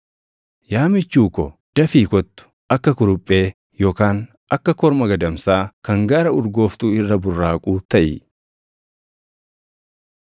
Yaa michuu ko, dafii kottu; akka kuruphee yookaan akka korma gadamsaa kan gaara urgooftuu irra burraaquu taʼi.